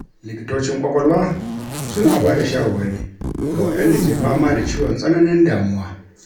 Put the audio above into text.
Likitocin ƙwaƙwalwa suna ba da shawarwari ga waɗanda ke fama da ciwon tsananin damuwa.